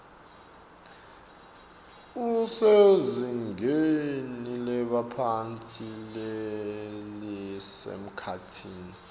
usezingeni lebaphatsi lelisemkhatsini